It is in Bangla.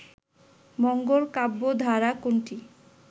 মঙ্গল কাব্য ধারা কোনটি